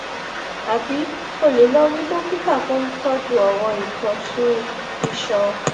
àbí o lè lọ rí dókítà tó ń tọjú ọràn ìtọsùn iṣan